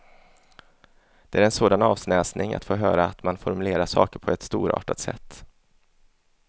Det är en sådan avsnäsning att få höra att man formulerar saker på ett storartat sätt.